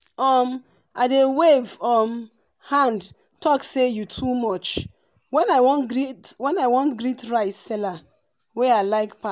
um i dey wave um hand talk say “you too much!” when i wan greet rice seller wey i like pa